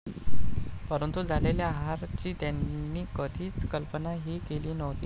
परंतु झालेल्या हार ची त्यांनी कधी कल्पना ही केली नव्हती.